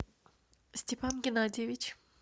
степан геннадьевич